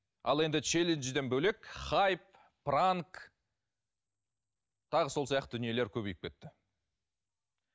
ал енді челенджден бөлек хайп пранк тағы сол сияқты дүниелер көбейіп кетті